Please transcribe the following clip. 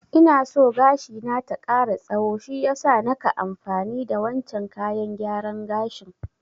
Ina so gashi na ta ƙara tsaho shiyasa naka amfani da wancen kayan gyaran gashin